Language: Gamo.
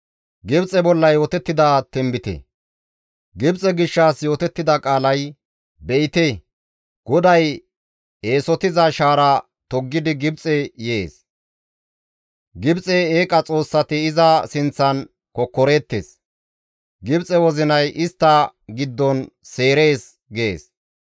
Gibxe gishshas yootettida qaalay, «Be7ite, GODAY eesotiza shaara toggidi Gibxe yees. Gibxe eeqa xoossati iza sinththan kokkoreettes; Gibxe wozinay istta giddon seerees» gees.